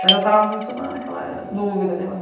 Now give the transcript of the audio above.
Mas eu estava muito naquela dúvida de eu